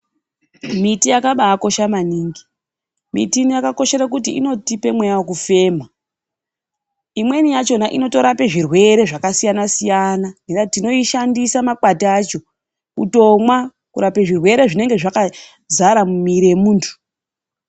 Miti yakabakosha maningi, miti yakakoshera kuti inotipa mweya wekufema imweni yakona inotorape zvirwere zvakasiyana-siyana, tinoishandisa makwati acho kutomwa kurape zvirwere zvinenge zvakazara mumwiri yemuntu.